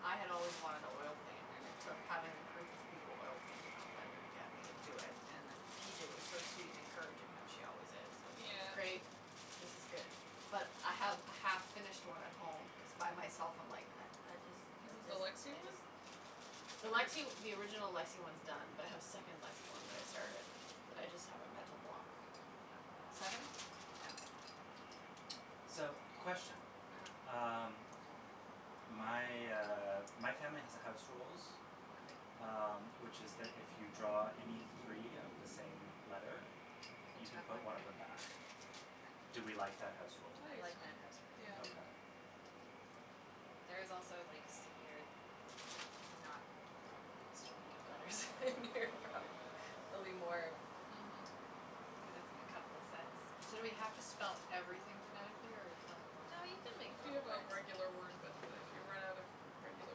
I had always wanted to oil paint and it took having a group of people oil painting on pender to get me to do it. And then P J was so sweet and encouraging, how she always is. I was like, Yeah. great, this is good. But I have a half finished one at home cuz by myself I'm like, I I just, I Is it the just, Lexie I one? just. The Lexie the original Lexie one's done, but I have a second Lexie one that I started, Mm. but I just have a mental block. Seven? Yeah. So, question. uh-huh. Um, my, uh, my family has a house rules, Okay. um, which is that if you draw any three of the same letter, You you can can chuck put one one of them back? back. I Do we like that house I think rule? I like that house so, yeah. rule. Okay. Mm. There is also like severe not properly distributed letters in here, probably. There'll be more Mhm. cuz it's a couple of sets. So do we have to spell everything phonetically, or are we playing No, normal you something can make If you normal have a words. regular word, but if you run out of regular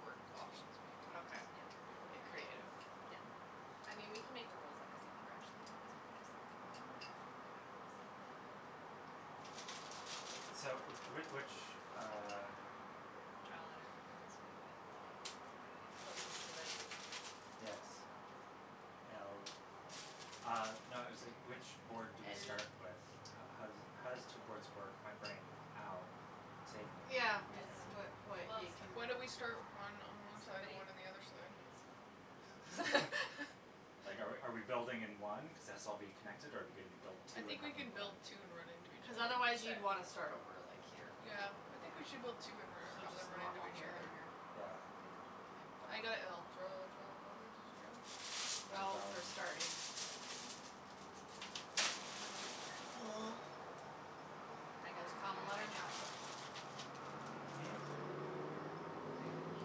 word options, maybe. Okay. Yeah. You can do You can whatever get you want. creative. Yeah. Mm. I mean, we can make the rules up cuz I've never actually played this before, so we can just have K fun. So, w- which, uh Draw a letter for who goes fir- I got a b. Closest Okay. to the top Yes. of the alphabet. L Uh no, I was like, which board do we start with? L How how does it how does two boards work? My brain. Ow. Save me. Yeah, I it's don't what know. what Well, you can Why don't we start one on one side and somebody one on the other side? picks one, I don't know. Like, are we are we building in one cuz its all'll be connected, or are we gonna be build I two and think we have them can build blend? two and run into each Cuz other. otherwise you'd Sure. want to start over, like, here. Yeah, I Yeah. think we should build two So, and let let them just run into normal each here and other. here? Yeah? Good call. I Okay. K. got l. Draw, draw a letter. Did you go? You guys Oh, all for in starting. I got a Most b common when letter I in the grabbed alphabet. one. Mm? I got a b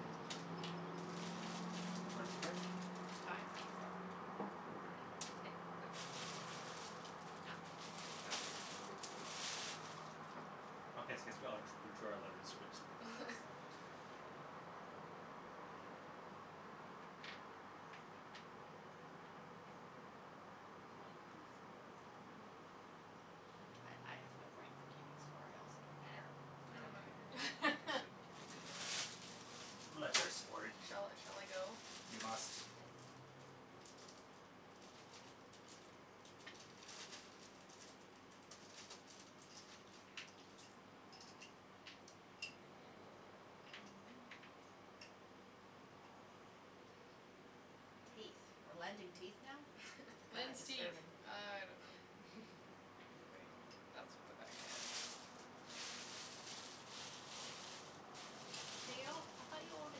that time. What'd you get? Tie. Yeah? I. Okay, go for it. Oh. Oh. Oh, yes yes, we all d- drew our letters which I saw. I I have no brain for keeping score. I also don't Eh, care. I I I don't don't don't know care care if Okay. we're either way. interested in keeping score. Letters for you. Shall I shall I go? You must. Yes. Teeth? We're lending teeth now? That is Lends teeth. disturbing. I don't know. Wait, that's what the bag had. Ooh. You I thought you owned a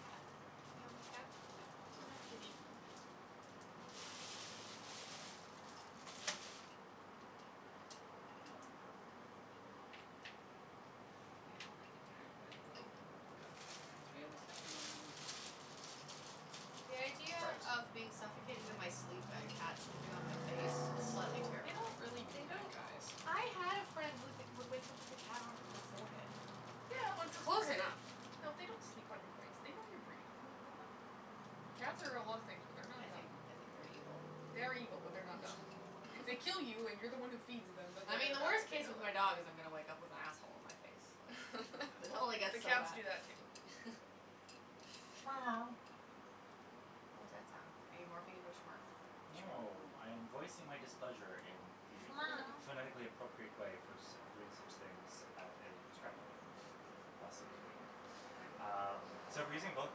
cat. You have no cat? No. No kitty. Okay. I would like a cat, but Oh. Oh. Got got three of the same one. The idea Trout? of being suffocated in my sleep Yes. by a cat sleeping on my face is slightly They don't terrifying. really do They that, don't all guys. do I had a that. friend who would wake up with a cat on her forehead. Yeah, on It's her close forehead. enough. No, they don't sleep on your face. They know you're breathing. They're not Cats are a lot of things, but they're not I think dumb. I think they're evil. They are evil, but they're not dumb. If they kill you and you're the one who feeds them, then they're I mean, gonna the die, worst they case know with my that. dog is I'm gonna wake up with asshole on my face. I Like, don't it know. only The gets so cats bad. do that, too. What that sound? Are you morphing into a Smurf? No, I am voicing my displeasure in the phonetically appropriate way for sit- doing such things at a Scrabble game. Thus Okay. it was written. Okay. Um, so we're using both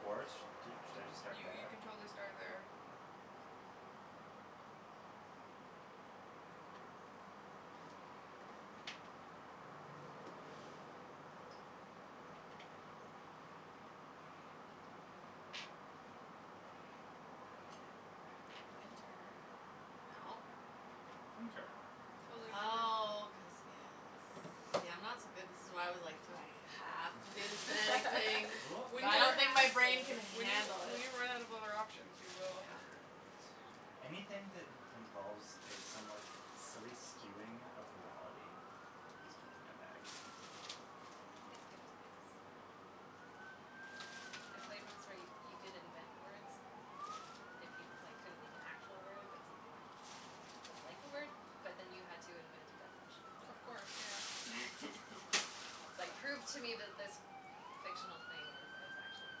boards? Do should I just start You you there? can totally start there. Winter. No. Winter. Totally winter. Nice. Oh, cuz, yes. See, I'm not so good. This is why I was like, do I have to do the phonetic thing? We When I you're don't don't think my have brain can to. When you handle when it. you run out of other options, you will. Yeah. a bit. Anything that in- involves a somewhat silly skewing of reality is totally my bag. It's good times. Yeah. I played once where you could invent words if you, like, couldn't make an actual word but something that was like a word, but then you had to invent a definition for Of it. course, yeah. Like, prove to me That's fun. that this fictional thing is is actually a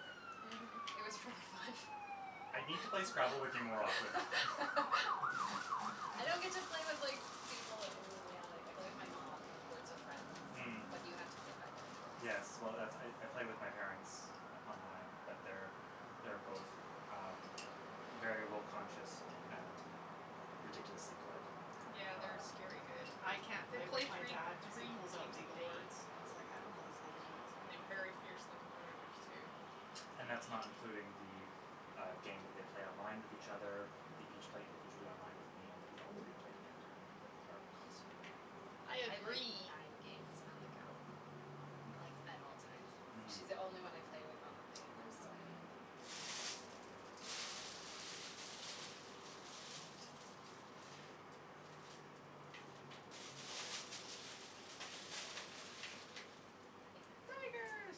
word. It Mhm. was really fun. I need to play Scrabble with you more often. I don't get to play with, like, people in reality. I play with my mom, Words With Friends, Mm. but you have to play by their rules. Yes. Well, that's I I play with my parents on- online, but they're, they're both, um, very rule conscious and ridiculously good. Yeah, they're Ah. Um scary good. I can't They play with play my three dad cuz he three pulls out games a legal day. words and it's like, I don't know Oh, these legal my words. gosh. And they're very fiercely competitives, too. And that's not including the, uh, game that they play online with each other, that they each play individually online with me and that we all three play together that are constantly running. I I have, like, agree. nine games on the go with my mom, Hmm. like, at all times. Mhm. She's the only one I play with on the thing and there's so many of them. Tigers. Tigers.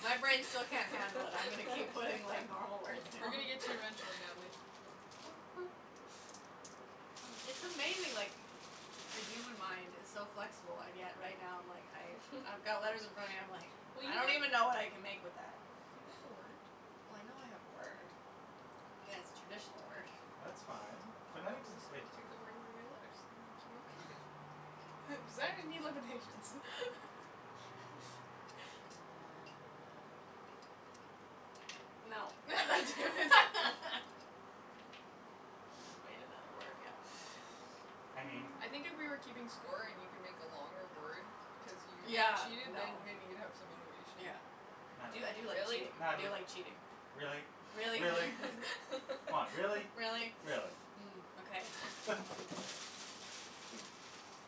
My brain still can't handle it. I'm gonna keep putting like normal words We're gonna down. get to you eventually, Natalie. It's amazing, like, the human mind is so flexible, and yet right now I'm like I I've got letters in front of me, I'm like Well, I you don't even when know what I can make with that. You got a word. Well, I know I have a word. Yeah, it's a traditional word. That's fine. Phonetic doesn't Just it gonna take your letters, make you more creative. Designers need limitations. Mm. No. Damn it. I just made another word, yeah. I mean I think if we were keeping score and you can make a longer word because you Yeah, cheated, then no. maybe you'd have some motivation. Yeah. I do I do like Natalie. Really? cheating, I Natalie, do like cheating. really? Really? Really? Come on, really? Really? Really? Mm, okay.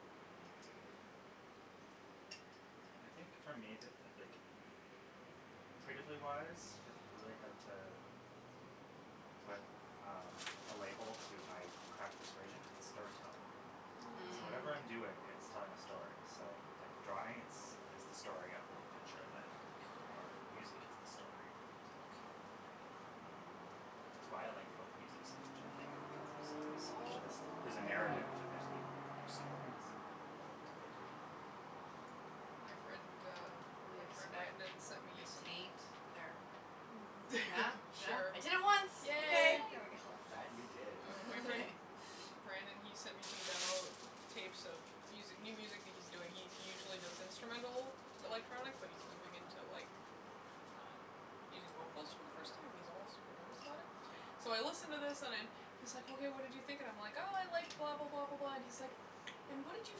Mm. Mm. Well, I think for me, the like, creatively wise, if I really had to put, um, a label to my craft persuasion, it's storytelling. So whatever I'm Mm. doing, Mm. it's Mm. telling a story. So, like, drawing, it's it's the story of the picture that I like or music it's the story of the music. Um, Right. it's why I like folk music so much, I think, because there's always so much All of the it. story There's a narrative and there's meaning in their stories and there's a world to it. Mm. Um My friend, um, my friend Brandon sent me some Taint. There. Yeah? Yeah? I did it Sure. once. Okay, Yay. Yay. there we go. That, you did. Uh my friend Brandon, he sent me some demo tapes of music new music that he's doing. He he usually does instrumental Mm. electronic, but he's moving into, like, um, using vocals for the first time and he's all super nervous about it. So I Right. listen to this and I'm he's like, hey, what did you think, and I'm like, I like blah, blah, blah, blah, blah, and he's like, and what did you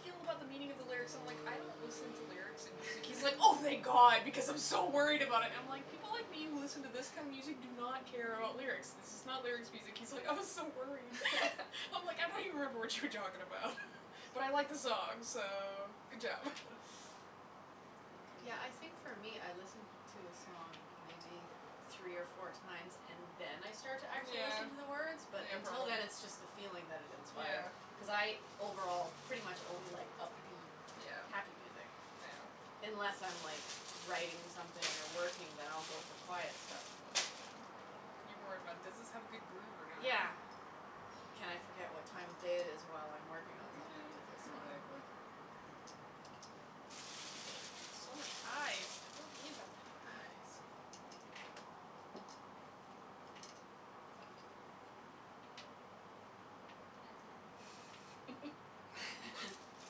feel about the meaning of the lyrics? So I'm, like, I don't listen to lyrics in music. He's like, oh, thank god because I'm so worried about it. I'm like, people like me who listen to this kind of music do not care about lyrics, this is not lyrics music. He's like, I was so Yeah. worried. I'm like, I don't even remember what you were talking about, but I like the song, so, good job. Yeah, I think for me I listen to a song maybe three or four times and then I start to actually Yeah. listen to the words, but Yeah, until probably. then it's just the Mhm. feeling that it inspire. Yeah. Cuz I overall pretty much only like upbeat, Yeah. happy music, Right. Yeah. unless I'm like writing something or working, then I'll go for quiet stuff, but you know. Yeah. You're more about does this have a good groove or not? Yeah. Can I forget what time of day it is while I'm working on something Yeah, with this song. exactly. Look at that. So many i's. I don't need that many i's. Onion.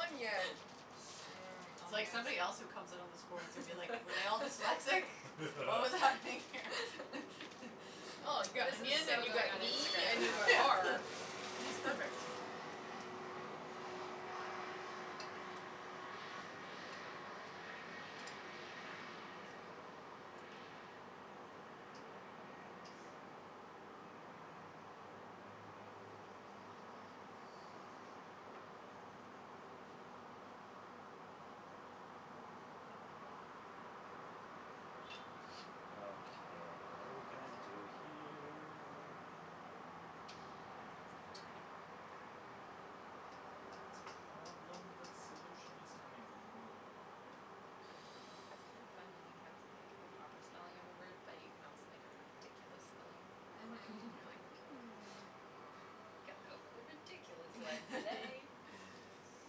Onion. Mmm, It's like onions. somebody else who comes in on this board is gonna be like, were they all dyslexic? What was happening here? Oh, you got This is onion so and you got going on knee Instagram and you got afterwards. are. That's perfect. Okay, what are we gonna do here? It's a problem that solution is coming near. It's kind of fun when you have, like the proper spelling of a word but you can also make a ridiculous spelling of the word. Mhm, you're like, hmm. I think I'll go for the ridiculous one today. Yes.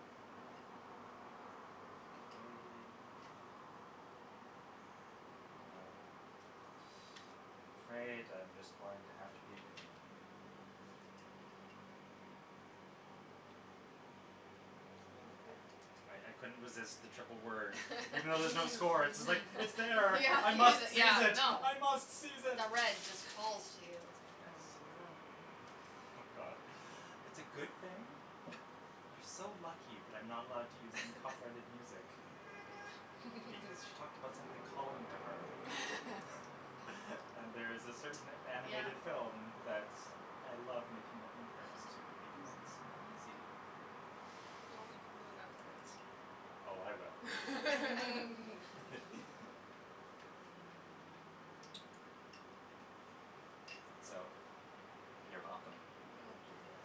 Okay. Well, I'm afraid I'm just going to have to be a goon. Sounds good. I I couldn't resist the triple word. Even though there's no score, it's like, it's there, Yeah, I must seize yeah, it, no. I must seize it. No, red just calls you, it's like Yes. God, it's a good thing. You're so lucky that I'm not allowed to use any copyrighted music because she talked about something calling to her. And there's a certain Yeah. animated film that's I love making up new lyrics to because it's so easy. Well, we can do it afterwards. Oh, I will. Mm. So, you're welcome. Oh, dear.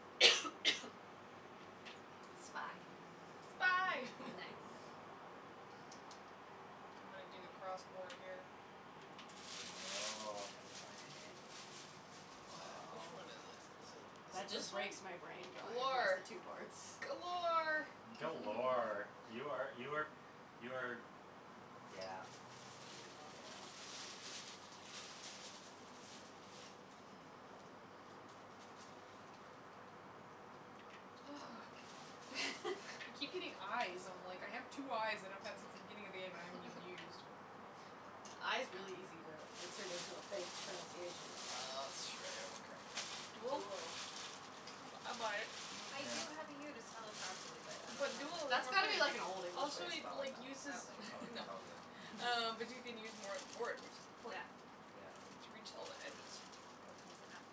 Spy. Spy. Mm. Nice. I'm gonna do the cross board here. Oh. Go for it. Wh- which Woah. one is it? Is it is That it this just one? breaks my brain going across Galore. the two boards. Galore. Galore. You are you are you are yeah, Beautiful. yeah. Ah. I keep getting i's. I'm, like, I have two i's that I've had since the beginning of the game that I haven't even used. I is really easy to insert into a fake pronunciation, though. That's true. I gotta work harder. Duel? Duel. I bu- I buy it. I Yeah. do have the u to spell it properly, but I But duel don't is That's more got to fun. be wanna. like an Old English way Also, to it spell like it, uses though. Probably. Oh, No, totally. um, but you can use more of the board, which is Yeah. important. Yeah. To reach all the edges. Opens it up.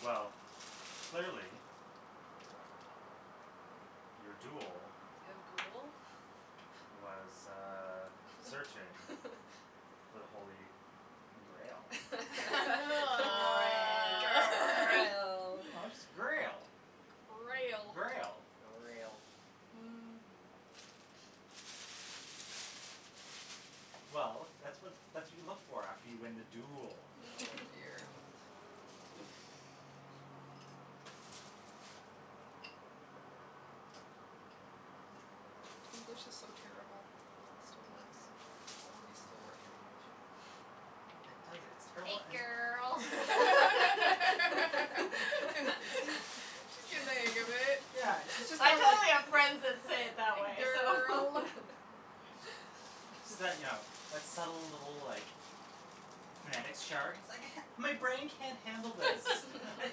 Well, clearly your duel was, uh, searching for the holy grail. Oh. Grail. No, just grail. Grail. Grail. Grail. Mhm. Well, that's what that's what you look for after you win the duel. Oh, dear. English is so terrible. It still works. All of these still work in English. It does, it's Hey, terrible and girl. You see, She's getting she's the hang of it. Yeah, she's just I kind of totally have friends that say it that way, so Girl. So you know, that subtle little, like, phonetics chart. My brain can't handle this. I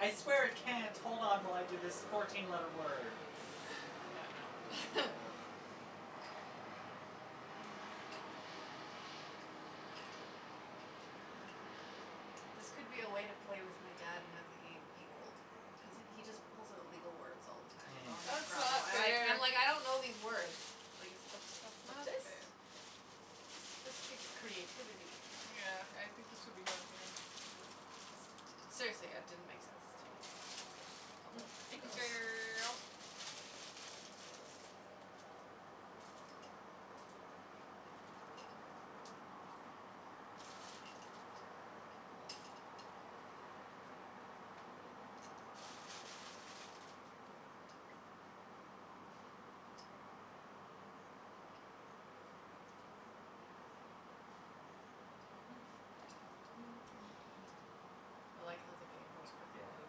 I swear it can't hold on while I do this fourteen letter word. Yeah, no. This could be a way to play with my dad and have the game equalled cuz he just pulls Mm. out legal words all the time in Mm. normal That's Scrabble not and I'm like, fair. I'm like I don't know these words. Like, it's That's not specific. fair. This takes creativity. Yeah, I think this would be hard for him. Yeah. Seriously, it didn't make sense to me the first couple Hey, go's. girl. I like how the game goes quickly Yeah. when you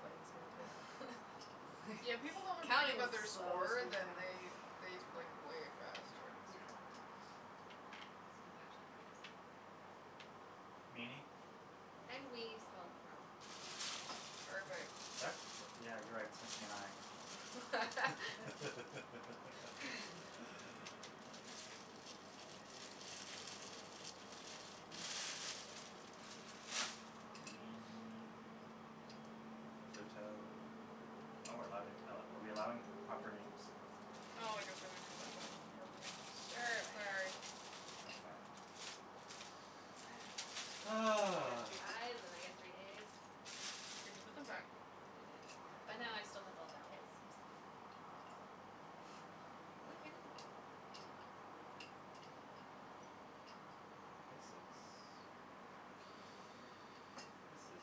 play this way, too. Yeah, when people don't have to think Counting about their just slows score, things then down. they they play way faster. That's That's Yeah. true. true. This one's actually probably spelled right, but I don't know. Meanie. Yeah, and wee spelled wrong. Perfect. That's the, yeah, you're right, it's missing an i. Meanie. Pluto. Oh, we're allowing are we're allowing p- proper names? Oh, I guess I didn't realize that was a proper name. Sure, why not? Sorry. Okay. I got Ah. three i's and I got three a's. Did you put them back? I did, Mm. but now I still have all vowels, so Woohoo. This is This is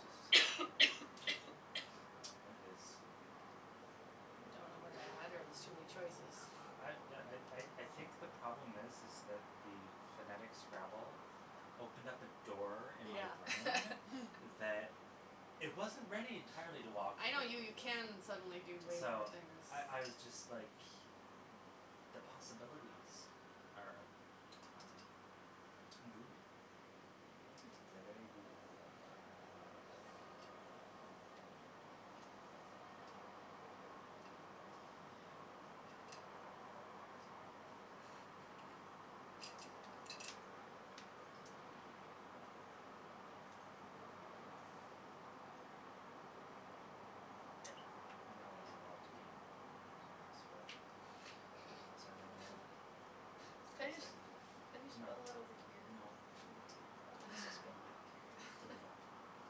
just It is Don't know where to add, or there's too many choices? I yeah I I I think the problem is is that the phonetic Scrabble opened up a door in my Yeah. brain Mm. that it wasn't ready entirely to walk I through. know, you you can suddenly do way more So, things. I I was just, like, the possibilities are, um, goo. Hmm. They're very goo. Um Well. I know I don't have a lot to gain from using this, but it, uh, it's the Can best you I just can do. can you No. spell it over here? No. Okay. I guess I'll spell mine over here. Yeah.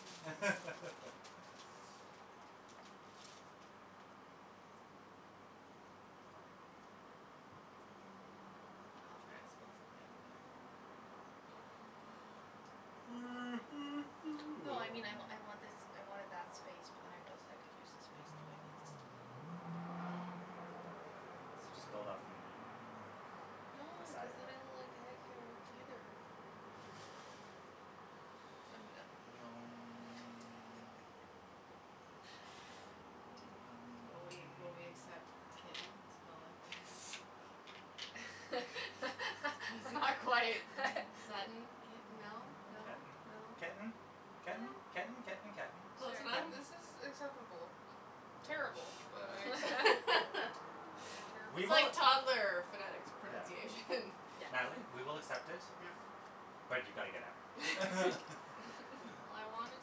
Sorry, babe. Mm. I'll try to spell something over there. No, I mean, I I want this, I wanted that space but then I realized I could use this space, too. I need this e. So just build off meanie, No, the cuz side of then it. it'll, like, it can't work, either. I'm I'm being Um a Will we will we accept kitten spelled like this? That's not quite. Sudden, kitten, no, no, Kitten, no? ketten, Yeah. ketten, ketten, ketten. Ketten. Sure. Close enough? Ketten. This is acceptable. Terrible, but I accept it. You're terrible. We It's will like toddler phonetics Yeah. pronunciation. Yes. Natalie, we will accept it, Yeah but you've got to get out. I wanted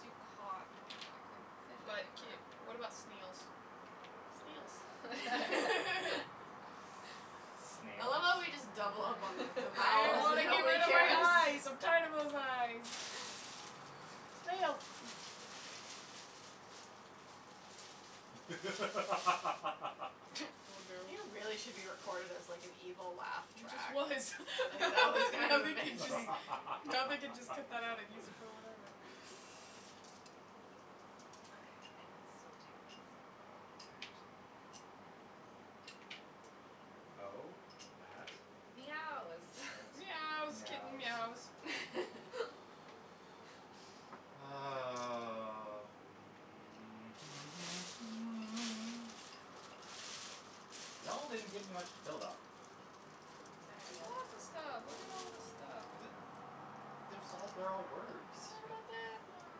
to to cotton, but I couldn't fit it But k anywhere. what about snails? Snails. I love Snails? how we just double up on the the I vowels want and to get nobody rid of my cares. i's. I'm tired of those i's. Snails. Oh, no. You really should be recorded as, like, an evil laugh He just track. was. Like, that was kind Now of they can just amazing. now they can just cut that out and use it for whatever. Okay, I can still do this cuz all of these are actually words. O at Meows. at Meows, kitten meows. meows. Um. Y'all didn't give me much to build off of. Sorry, There's yo. lots of stuff. Look at all this stuff. D- there's all they're all words. What about that one?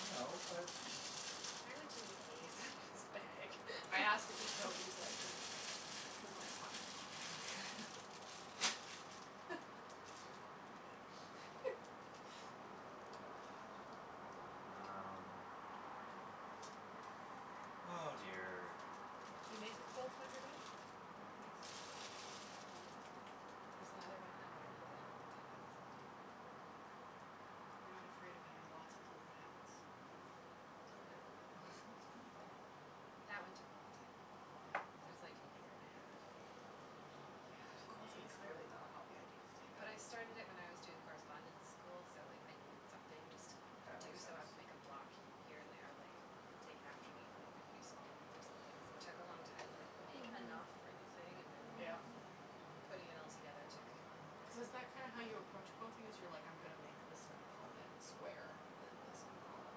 I And that know, one but There's entirely too many a's in this bag. I ask that we don't use that d because I might find Um. Oh, dear. You made the quilt on your bed? Nice. There's another one underneath it that I also made. You're not afraid of having lots of little panels? No. Sounds kinda fun. That one took a long time, though. That was like a year and a half. Quilting clearly Mm. not a hobby I need to take up. But I started it when I was doing correspondence school, so like I needed something just to That do, makes so sense. I would make a block here and there, like, take an afternoon, make a few small ones or something. Took a long time to, like, make Mhm. Mhm. enough for the thing and then Yeah. putting it all Three, together took, four, Cuz yeah. is that five. kind of how you approach quilting, is you're like, I'm gonna make this component square and then this component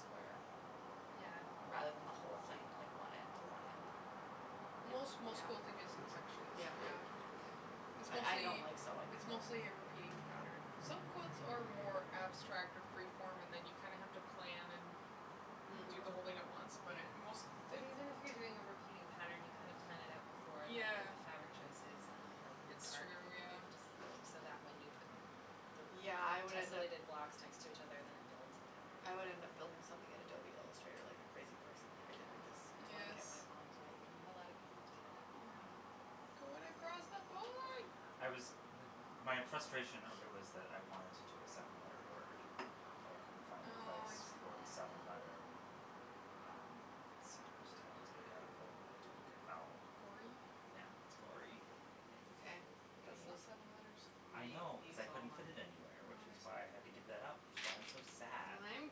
square Yeah. rather than the whole thing, like, one end to one end? Yeah. Most most Yeah? school thing is in sections, Yeah. yeah. Yeah. It's I I don't mostly, like sewing, it's so mostly a repeating pattern. Some quilts are more abstract or freeform and then you kinda have to plan and do Mm. the whole thing at once, but I Yeah, most but even if you're doing a repeating pattern, you kind of plan it out before and, like, pick Yeah. the fabric choices and then lighten and It's dark and true, everything yeah. just so that when you put Hmm. the Yeah, I would end up tessolated blocks next to each other, then it builds the pattern. I would end up building something in Adobe Illustrator like a crazy person, like I did with this Yes. blanket my mom's making me. A lot of people do that. Yeah. Yeah. You're going across the board. I was m- my frustration earlier was that I wanted to do a seven letter word, but I couldn't find a Oh, I place see. for the seven letter, Oh. um, so I just had to take out the duplicate vowel. Gory? Yeah, it's gory. Very Okay, nice. I'm But gonna that's not use seven letters. I'm I gonna know u- cuz use I all couldn't mine. fit it anywhere, which is Oh, I why I had to see. give that up, which is why I'm so sad. And I'm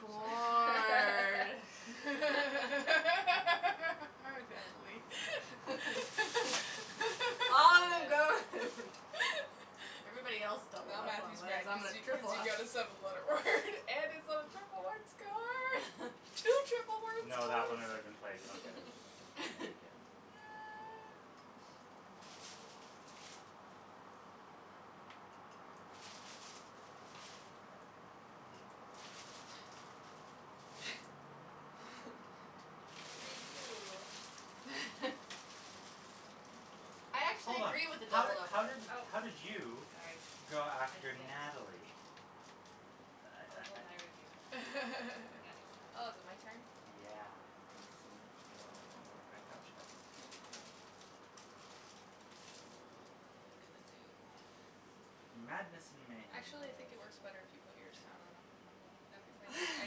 bored. Oh, Natalie. All them are Good. gone. Everybody else doubled Now up on Matthew's letters. mad And I'm cuz gonna you cuz triple you up. got a seven letter word and it's on a triple word score. Two triple word No, that scores. one had already been played. You don't get it it it again. Yeah. Review. I actually Hold on, agree with the how did doubled up how Oh, letters. did how did you sorry. go I after skipped. Natalie? I I'll I I hold my review. I got Oh, is it my excited. turn? Yeah. Thanks, sweetie. You're welcome. I I got your back. Thank you. Oh, what am I gonna do? Madness and mayhem, my Actually, I think love. it works better if you put yours down when I put mine down. Cuz I need I